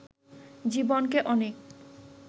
জীবনে অনেক